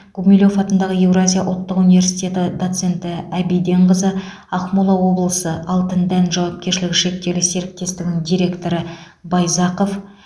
гумилев атындағы еуразия ұлттық университеті доценті әбиденқызы ақмола облысы алтындән жауапкершіліг шектеулі серіктестігінің директоры байзақов